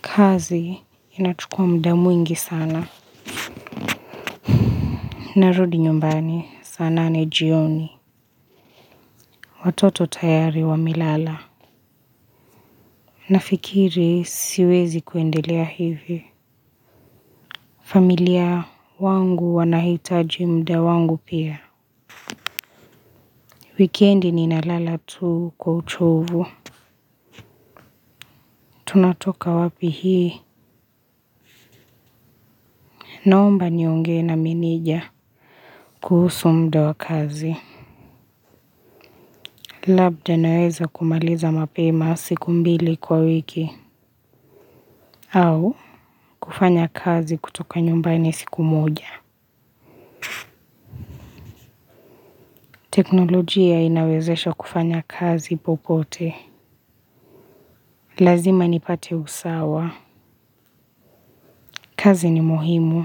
Kazi inachukuwa mda mwingi sana. Narudi nyumbani saa nane jioni. Watoto tayari wamelala. Nafikiri siwezi kuendelea hivi. Familia yangu wanahitaji mda wangu pia. Weekendi ninalala tu kwa uchovu. Tunatoka wapi hii. Naomba niongee na meneja. Kuhusu mda wa kazi. Labda naweza kumaliza mapema siku mbili kwa wiki. Au kufanya kazi kutoka nyumbani siku moja. Teknolojia inawezesha kufanya kazi popote. Lazima nipate usawa. Kazi ni muhimu,